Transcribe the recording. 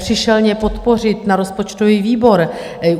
Přišel mě podpořit na rozpočtový výbor.